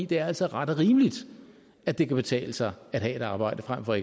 det er altså ret og rimeligt at det kan betale sig at have arbejde frem for